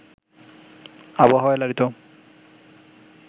আবহাওয়ায় লালিত